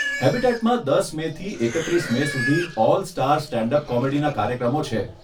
હેબીટેટમાં દસ મેથી એકત્રીસ મે સુધી 'ઓલ સ્ટાર સ્ટેન્ડ અપ કોમેડી'ના કાર્યક્રમો છે.